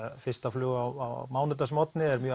fyrsta flug á mánudagsmorgni er mjög